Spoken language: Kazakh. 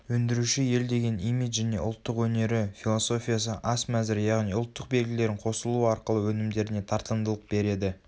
өндіруші елдеген имиджіне ұлттық өнері философиясы ас мәзірі яғни ұлттық белгілерін қосылуы арқылы өнімдеріне тартымдылық береді